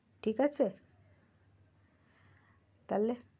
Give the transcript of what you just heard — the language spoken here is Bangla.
ঠিক আছে তাহলে?